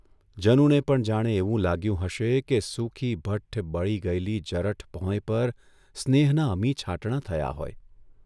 જનુને પણ જાણે એવું લાગ્યું હશે કે સૂકીભઠ્ઠુ, બળી ગયેલી જરઠ ભોંય પર સ્નેહનાં અમીછાંટણા થયાં હોય !